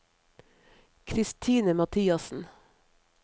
Christine Mathiassen